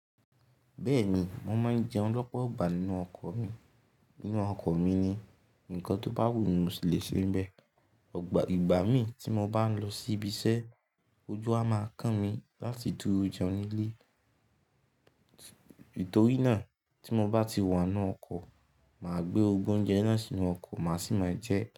Bẹ́ẹ̀ni, mo máa ń jẹun lọ́pọ̀ ìgbà nínú ọkọ̀ mi. Nínú ọkọ̀ mi ni ǹkan tó bá wù mí mo si lè se ń bẹ. Ọgbà ìgbà mí tí mo bá ń lọ síbi iṣẹ́, ojú a máa kàn mí láti dúró jẹun nílé. Nítorí náà tí mo bá ti wà nínú ọkọ̀, màá gbé gbogbo oúnjẹ náà sínú ọkọ̀ má sì máa jẹé.